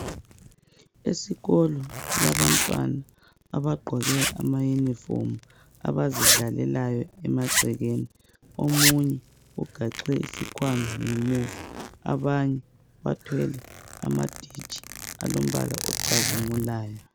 Esikolo kulabantwana abagqoke amaunifomu abazidlalelayo emagcekeni omunye ugaxe isikhwama ngemuva abanye bathwele amaditshi alombala ocazimulayo.